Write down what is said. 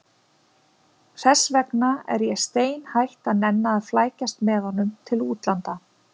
Þess vegna er ég steinhætt að nenna að flækjast með honum til útlanda.